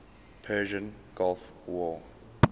persian gulf war